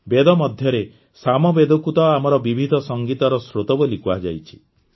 ବେଦ ମଧ୍ୟରେ ସାମବେଦକୁ ତ ଆମର ବିବିଧ ସଂଗୀତର ସ୍ରୋତ ବୋଲି କୁହାଯାଇଛି